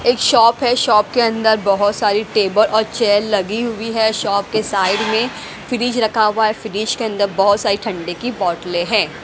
एक शॉप है शॉप के अंदर बहुत सारी टेबल और चेयर लगी हुई है शॉप के साइड में फ्रिज रखा हुआ है फ्रिज के अंदर बहुत सारी ठंडे की बोतलें है।